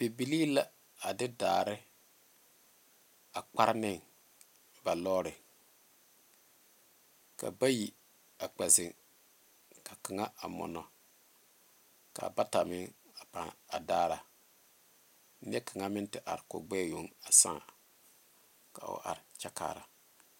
Bibile la a de daare a kparre ne ba lɔɔre ka bayi a kpɛ zeŋ ka kaŋa mɔnɔ a ka bata meŋ a pãã a daara nyɛ kaŋa meŋ te are ooka o gbɛɛ yoŋ sàà ka o are kyɛ kaara